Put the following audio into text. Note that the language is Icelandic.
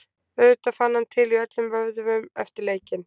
Auðvitað fann hann til í öllum vöðvum eftir leikinn.